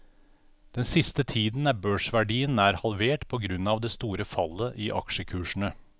Den siste tiden er børsverdien nær halvert på grunn av det store fallet i aksjekursene.